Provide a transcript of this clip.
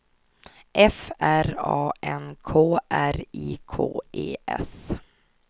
F R A N K R I K E S